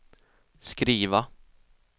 skriva